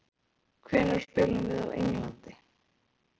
Hvenær spilum við á Englandi?